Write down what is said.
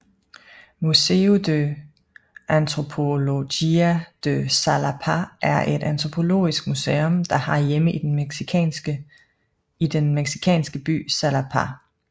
Museo de Antropologia de Xalapa er et antropologisk museum der har hjemme i den mexicansk by Xalapa